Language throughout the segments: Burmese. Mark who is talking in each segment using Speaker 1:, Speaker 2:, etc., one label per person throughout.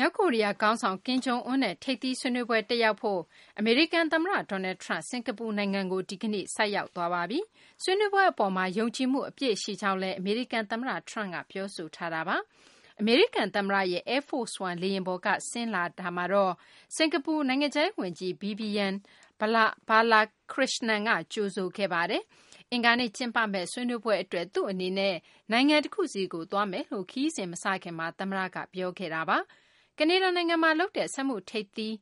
Speaker 1: မြောက်ကိုရီးယား ခေါင်းဆောင် ကင်ဂျုံအွန်းနဲ့ ထိပ်သီး ဆွေးနွေးပွဲ တက်ရောက်ဖို့ အမေရိကန် သမ္မတ Donald Trump စကာၤပူနိုင်ငံကို ဒီကနေ့ ရောက်ရှိနေပါပြီ။ ဆွေးနွေးပွဲ အပေါ်မှာ ယုံကြည်မှု အပြည့်ရှိကြောင်းလည်း အမေရိကန် သမ္မတ Trump က ပြောဆိုထားတာပါ။ အမေရိကန် သမ္မတရဲ့ Air Force One လေယာဉ်ပေါ်က ဆင်းလာတဲ့ သမ္မတ Trump ကို စကာၤပူ နိုင်ငံခြားရေး ဝန်ကြီး Vivian Balakrishnam က ကြိုဆိုခဲ့ပါတယ်။ အင်္ဂါနေ့ ကျင်းပမယ့် ဆွေးနွေးပွဲ အတွက် သူ့အနေနဲ့ နိုင်ငံ တခုဆီကို သွားမယ်လို့ ခရီးစဉ် မစခင်မှာ သမ္မတက ပြောခဲ့တာပါ။ ကနေဒါနိုင်ငံမှာလုပ်တဲ့ စက်မှုထိပ်သီး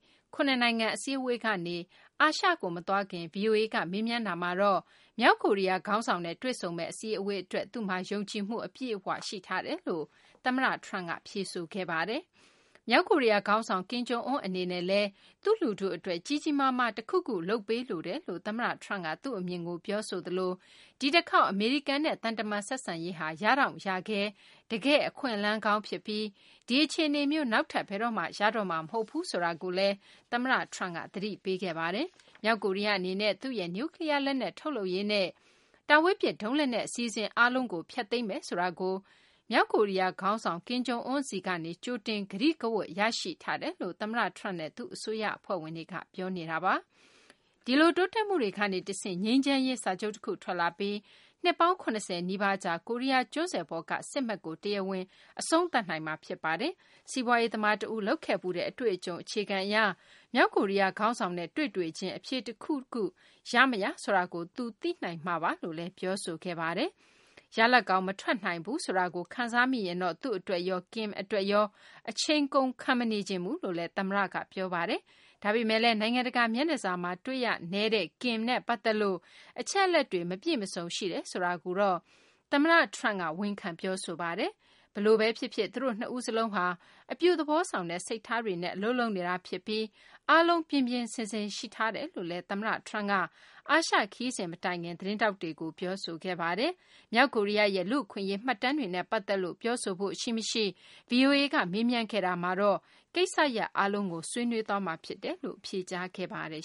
Speaker 1: အစည်းအဝေးကနေ အာရှကို မသွားခင် ဗွီအိုအေက မေးမြန်းရာမှာတော့ မြောက်ကိုရီယားခေါင်းဆောင်နဲ့ တွေ့ဆုံမယ့် အစည်းအဝေးအတွက် သူမှာ ယုံကြည်မှု အပြည့်အဝရှိထားတယ်လို့ သမ္မတ Trump က ဖြေဆိုသွားပါတယ်။ မြောက်ကိုရီယားခေါင်းဆောင် Kim Jong Un အနေနဲ့လည်း သူ့လူထုအတွက် ကြီးကြီးမားမားတခုခု လုပ်ပေးလိုတယ်လို့ သမ္မတ Trump က သူ့အမြင်ကို ပြောဆိုသလို၊ ဒီတခေါက် အမေရိကန်နဲ့သံတမန်ရေး ဆက်ဆံရေးဟာ ရတောင့်ရခဲ တကယ်အခွင့်အလမ်းကောင်းဖြစ်ပြီး ဒီအခြေအနေမျိုး နောက်ထပ် ဘယ်တော့မှ ရတော့မှာမဟုတ်ဘူးဆိုတာကိုလည်း သမတ Trump က သတိပေးခဲ့ပါတယ်။ မြောက်ကိုရီယားအနေနဲ့ သူ့ရဲ့နူကလီယားလက်နက်ထုတ်လုပ်ရေးနဲ့ တာဝေးပစ်ဒုံးလက်နက်အစီအစဉ်တွေအားလုံးကို ဖျက်သိမ်းမယ်ဆိုတာကို မြောက်ကိုရီယားခါင်းဆောင် Kim Jong Un ဆီကနေ ကြိုတင် ကတိကဝတ်ရရှိထားတယ်လို့ သမ္မတ Trump နဲ့ သူ့အစိုးရအဖွဲ့ဝင်တွေက ပြောနေပါတယ်။ ဒီလို တိုးတက်မှုတွေကနေတဆင့် ငြိမ်းချမ်းရေးစာချုပ်တခု ထွက်လာနိုင်ပြီး၊ နှစ်ပေါင်း ၇၀ နီးပါးကြာ ကိုရီယားကျွန်းဆွယ်ပေါ်က စစ်မက် ကို တရားဝင် အဆုံးသတ်နိုင်မှာဖြစ်ပါတယ်။ စီးပွားရေးသမားတဦးလုပ်ခဲ့ဖူးတဲ့ အတွေ့အကြုံအခြေခံအရ၊ မြောက်ကိုရီယားခေါင်းဆောင်နဲ့ တွေ့တွေ့ချင်း အဖြေတခုခု ရမရ ဆိုတာကို သူ သိနိုင်မှာပါလို့လည်း ပြောပါတယ်။ ရလဒ်ကောင်းမထွက်နိုင်ဘူးဆိုတာကို ခံစားမိရင်တော့ သူ့အတွက်ရော Kim အတွက်ရော အချိန်ကုန်ခံမနေချင်ဘူးလို့ပြောပါတယ်။ ဒါပေမယ့်လည်း နိုင်ငံတကာမျက်နှာစာမှာ တွေ့ရနည်းတဲ့ Kim နဲ့ပတ်သက်လို့ အချက်အလက်တွေမပြည့်မစုံရှိတယ်ဆိုတာကိုတော့ သမတ Trump က ဝန်ခံပြောပါတယ်။ ဘယ်လိုပင်ဖြစ်စေ သူတို့နှစ်ဦးစလုံးဟာ အပြုသဘောဆောင်တဲ့ စိတ်ထားတွေနဲ့ အလုပ်လုပ်နေတာဖြစ်ပြီး၊ အားလုံး ပြင်ပြင်ဆင်ဆင်ရှိထားတယ်လို့လည်း သမတ Trump က အာရှခရီးမထွက်ခင်လေး သတင်းထောက်တွေကို ပြောသွားပါတယ်။ မြောက်ကိုရီယားရဲ့ လူ့အခွင့်အရေးမှတ်တမ်းတွေနဲ့ပတ်သက်လို့ ပြောဆိုဖို့ရှိမရှိ ဗွီအိုအေက မေးမြန်းခဲ့ရာမှာတော့ ကိစ္စရပ်အားလုံးကို ဆွေးနွေးသွားမှာဖြစ်တယ်လို့ ဖြေကြားသွားပါတယ်